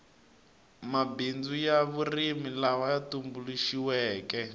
mabindzu ya vurimi laya tumbuluxiweke